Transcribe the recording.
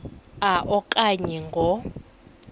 a okanye ngo